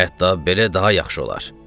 Hətta belə daha yaxşı olar.